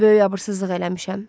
Böyük abırsızlıq eləmişəm.